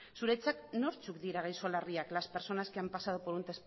zuretzat nortzuk dira gaixo larriak las personas que han pasado por un